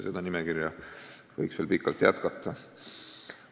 Seda nimekirja võiks veel pikalt jätkata.